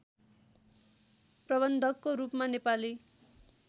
प्रबन्धकको रूपमा नेपाली